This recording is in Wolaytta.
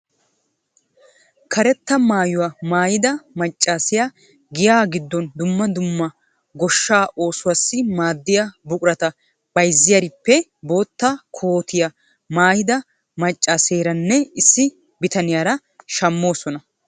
Karetta maayuwa maayida maccaasiya giyaa giddon dumma dumma goshshaa oosuwassi maaddiya buqurata bayzziyarippe boottaa kootiya maayida maccaaseeranne issi bitaniyara shammoosona.